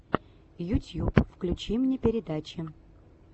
ютьюб включи мне передачи